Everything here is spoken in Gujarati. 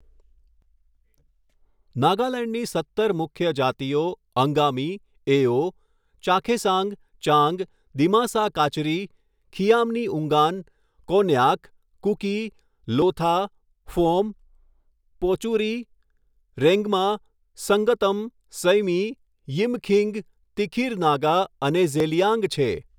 નાગાલેન્ડની સત્તર મુખ્ય જાતિઓ અંગામી, એઓ, ચાખેસાંગ, ચાંગ, દિમાસા કાચરી, ખિયામ્નીઉંગાન, કોન્યાક, કુકી, લોથા, ફોમ, પોચુરી, રેન્ગ્મા, સંગતમ, સૈમી, યિમખીંગ, તિખિર નાગા અને ઝેલિયાંગ છે.